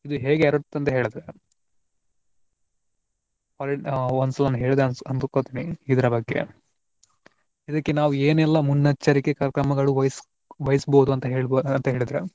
ಇದು ಹೇಗೆ ಹರಡುತ್ತೆ ಅಂತ ಹೇಳ್ದ್ರೆ ಒಂದ್ಸಲ ಹೇಳ್ದೆ ಅಂತ ಅಂದು ಕೊಂತಿನಿ ಇದರ ಬಗ್ಗೆ. ಇದಕ್ಕೆ ನಾವು ಏನೆಲ್ಲಾ ಮುನ್ನಚ್ಚರಿಕೆ ಕ್ರಮಗಳು ವಹಿಸ್~ ವಹಿಸಬಹುದು ಅಂತ ಹೇಳಿದ್ರೆ.